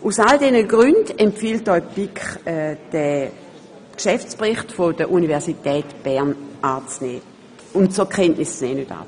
Aus all diesen Gründen empfiehlt Ihnen die BiK, den Geschäftsbericht der Universität Bern zur Kenntnis zu nehmen.